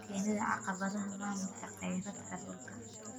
Keenida caqabadaha maamulka kheyraadka dhulka.